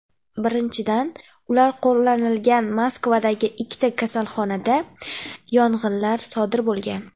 Birinchidan, ular qo‘llanilgan Moskvadagi ikkita kasalxonada yong‘inlar sodir bo‘lgan.